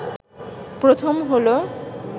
প্রথম হলো